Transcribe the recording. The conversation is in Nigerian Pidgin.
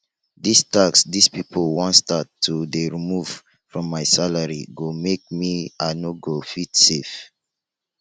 dis tax dis people wan start to dey remove from my salary go make me i no go fit save